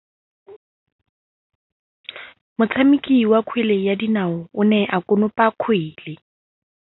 Motshameki wa kgwele ya dinaô o ne a konopa kgwele.